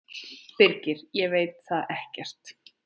Birgir: Ég veit það ekkert.